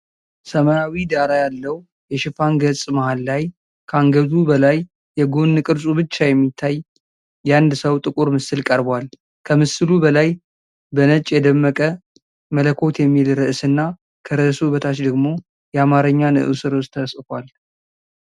ሰማያዊ ዳራ ያለው የሽፋን ገጽ መሃል ላይ፣ ከአንገቱ በላይ የጎን ቅርጹ ብቻ የሚታይ የአንድ ሰው ጥቁር ምስል ቀርቧል። ከምስሉ በላይ በነጭ የደመቀ “መለኮት” የሚል ርዕስና ከርዕሱ በታች ደግሞ የአማርኛ ንዑስ ርዕስ ተጽፏል።